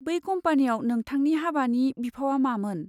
बै कम्पानियाव नोंथांनि हाबानि बिफावआ मामोन?